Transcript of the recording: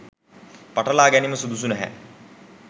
පටලා ගැනීම සුදුසු නැහැ.